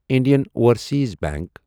Indian Overseas bank